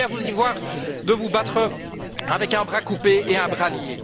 Je voudrais bien vous y voir vous battre avec un bras coupé et un bras lié.